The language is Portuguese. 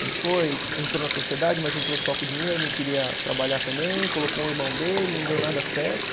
Ele foi, entrou na sociedade, mas entrou só com dinheiro, não queria trabalhar também, colocou um irmão dele, não deu nada certo.